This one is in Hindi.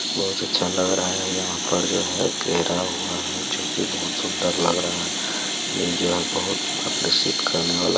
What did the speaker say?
बहुत अच्छा लग रहा है| यहाँ पर जो है घेरा हुआ है जो की बहुत सुंदर लग रहा है| यह जो है आकर्षित करने वाला --